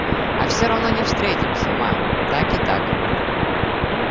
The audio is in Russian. а всё равно не встретимся ма так и так